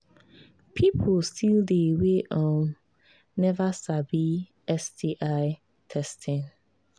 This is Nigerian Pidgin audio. people still they we um never sabi sti testing